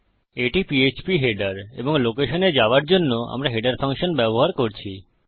এটি পীএচপী হেডারশিরোলেখ এবং লোকেশনে যাওযার জন্য আমরা হেডার ফাংশন ব্যবহার করছি